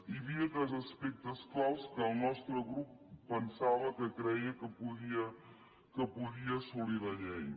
hi havia tres aspectes clau que el nostre grup pensava creia que podia assolir la llei